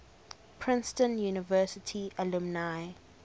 princeton university alumni